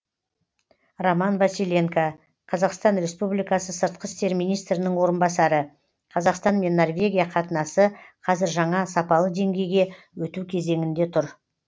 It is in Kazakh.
роман василенко қазақстан республикасы сыртқы істер министрінің орынбасары қазақстан мен норвегия қатынасы қазір жаңа сапалы деңгейге өту кезеңінде тұр